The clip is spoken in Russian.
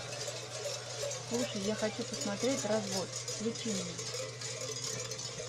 слушай я хочу посмотреть развод включи мне